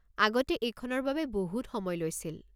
আগতে এইখনৰ বাবে বহু সময় লৈছিল।